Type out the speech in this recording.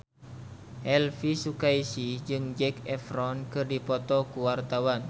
Elvy Sukaesih jeung Zac Efron keur dipoto ku wartawan